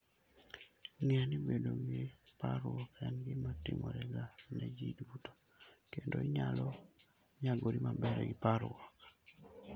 Ng'e ni bedo gi parruok en gima timorega ne ji duto, kendo inyalo nyagori maber gi parruok.